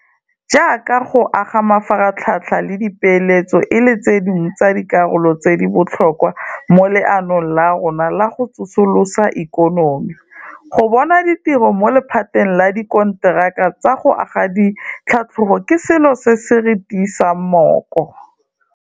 Jaaka go aga mafaratlhatlha le dipeeletso e le tse dingwe tsa dikarolo tse di botlhokwa mo leanong la rona la go tsosolosa ikonomi, go bona ditiro mo lephateng la dikonteraka tsa go aga di tlhatlogo ke selo se se re tiisang mooko.